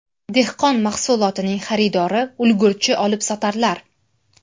Dehqon mahsulotining xaridori ulgurji olibsotarlar.